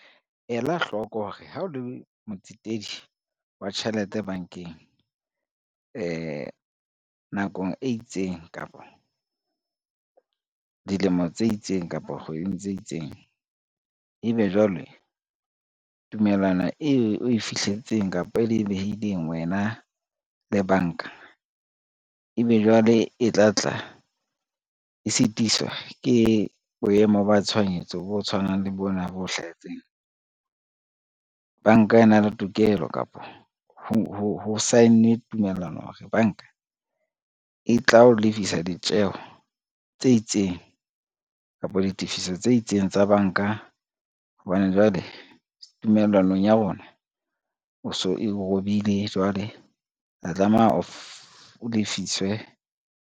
Ela hloko hore ha o le motsetedi wa tjhelete bankeng, nakong e itseng, kapo dilemo tse itseng, kapo kgweding tse itseng, ebe jwale tumellano e we fihletseng kapa e le behileng wena le banka ebe jwale e tla tla e sitiswa ke boemo ba tshohanyetso bo tshwanang le bona bo hlahetseng. Banka e na le tokelo kapo ho sign-e tumellano hore banka, e tla o lefisa ditjeho tse itseng kapo ditifiso tse itseng tsa banka hobane jwale tumellanong ya rona o so e robile jwale tla tlameha o lefiswe.